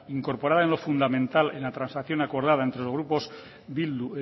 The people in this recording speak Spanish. incorporada en lo fundamental en la transacción acordada entre los grupos bildu